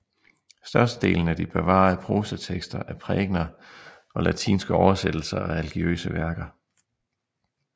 Størstedelen af de bevarede prosatekster er prækener og latinske oversættelser af religiøse værker